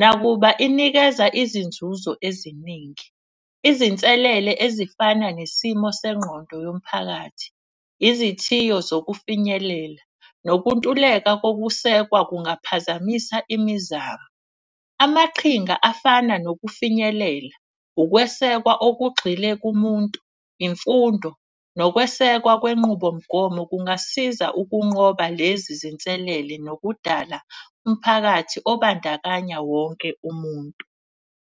Nakuba inikeza izinzuzo eziningi izinselele ezifana nesimo sengqondo yomphakathi, izithiyo zokufinyelela. Nokuntuleka kokusekwa kungaphazamisa imizamo, amaqhinga afana nokufinyelela, ukwesekwa okugxile kumuntu, imfundo. Nokwesekwa kwenqubomgomo kungasiza ukunqoba lezi zinselele nokudala umphakathi okubandakanya wonke umuntu.